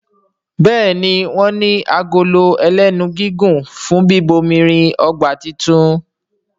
Béèni wón ní Agolo ẹlẹ́nu gígùn fún bíbomirin ọgbà títún.